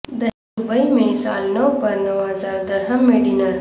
Dubai میں سال نو پر نو ہزار درہم میں ڈنر